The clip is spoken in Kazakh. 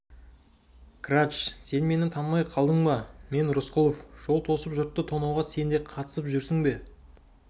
грач сен мені танымай қалдың ба мен рысқұлов жол тосып жұртты тонауға сен де қатысып жүрсің